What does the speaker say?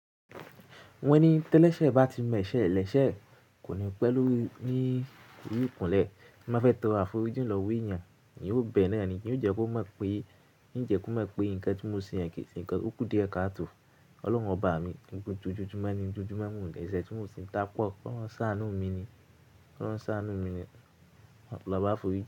Wọ́n ní télẹ́ṣẹ̀ bá ti mọ̀ ẹ́ṣẹ́ ẹ lẹ́ṣẹ̀ kò ní pẹ́ lórí ní ori ikúnlẹ̀. Má fẹ́ tóro àforíjì lọwo èèyàn, èèyàn yóò bẹ̀ẹ̀ náà ni yo jẹ́ kó mọ̀ pé ń jẹ́ kó mọ̀ pé nǹkan tí mo ṣe yẹn kì í ṣe nǹkan. Ó kú díẹ̀ káàtò. Ọlọ́run ọba mi, torípé ojojumọ́ ni, ojojumọ́ mo n dẹ̀ẹ̀ṣẹ̀ tí mò ṣi ń ta pọ̀. K'ọlọrun s'aanu mi ní. K'ọlọrun ṣ'aanú mi ni lọba àforíjì.